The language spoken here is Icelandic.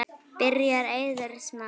Byrjar Eiður Smári?